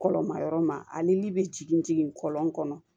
Kɔlɔnma yɔrɔ ma ani be jigin kɔlɔn kɔnɔ